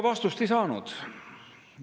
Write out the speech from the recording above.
Vastust me ei saanud.